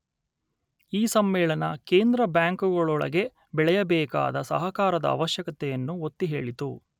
ಈ ಸಮ್ಮೇಳನ ಕೇಂದ್ರ ಬ್ಯಾಂಕುಗಳೊಳಗೆ ಬೆಳೆಯಬೇಕಾದ ಸಹಕಾರದ ಆವಶ್ಯಕತೆಯನ್ನು ಒತ್ತಿ ಹೇಳಿತು